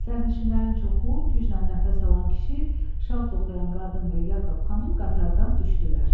Sərnişinlərin çoxu, güclə nəfəs alan kişi, şal toxuyan qadın və Yakob xanım qatardan düşdülər.